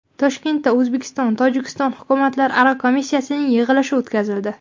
Toshkentda O‘zbekistonTojikiston hukumatlararo komissiyasining yig‘ilishi o‘tkazildi.